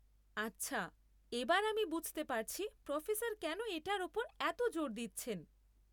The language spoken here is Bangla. আচ্ছা, এবার আমি বুঝতে পারছি প্রোফেসর কেন এটার ওপর এত জোর দিচ্ছেন।